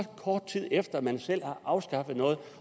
kort tid efter at man selv har afskaffet noget